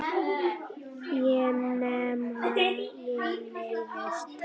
Ekki nema ég neyðist til.